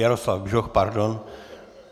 Jaroslav Bžoch, pardon.